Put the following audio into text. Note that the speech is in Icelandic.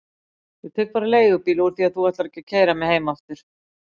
Ég tek bara leigubíl úr því að þú ætlar ekki að keyra mig heim aftur.